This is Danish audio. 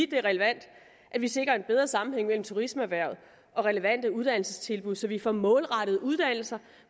det er relevant at vi sikrer en bedre sammenhæng mellem turismeerhvervet og relevante uddannelsestilbud så vi får målrettet uddannelser